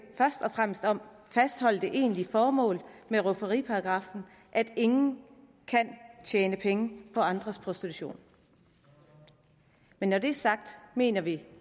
først og fremmest om at fastholde det egentlige formål med rufferiparagraffen at ingen kan tjene penge på andres prostitution men når det er sagt mener vi